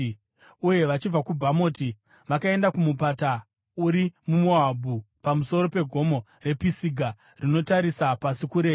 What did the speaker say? uye vachibva kuBhamoti vakaenda kumupata uri muMoabhu pamusoro pegomo rePisiga rinotarira pasi kurenje.